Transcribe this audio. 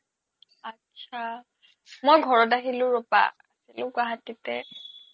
আত্ছা মই ঘৰত আহিলো ৰবা আছিলো গুৱাহাতিতে